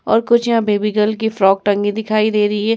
और कुछ यहाँ बेबी गर्ल की फ्रॉक टंगी दिखाई दे रही है।